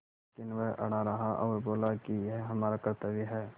लेकिन वह अड़ा रहा और बोला कि यह हमारा कर्त्तव्य है